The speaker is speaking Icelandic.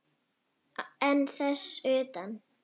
En þess utan?